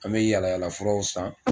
An bɛ yaala yaala furaw san